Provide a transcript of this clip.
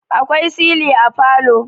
akwai sili a falo